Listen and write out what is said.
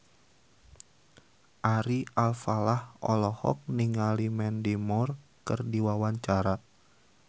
Ari Alfalah olohok ningali Mandy Moore keur diwawancara